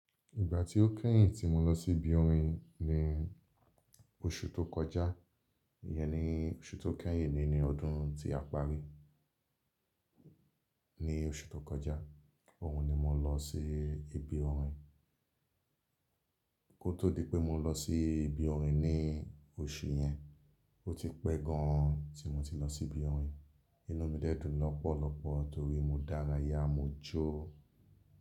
Ìgbà tí ó kẹ́yìn tí mo lọ sí ibi orin ni oṣù tó kọjá. Iyẹn ni oṣù tó kẹ́yìn nínú ọdún tí a parí. Ní oṣù tó kọjá, òun ni mo lọ sí ibi orin. Kó tó di pé mo lọ sí ibi orin ní oṣù yẹn, ó ti pẹ́ gan an tí mo ti lọ sí ibi orin. Inú mi dẹ́ dùn lọ́pọ̀lọpọ̀ torí mo dárayá mo jó.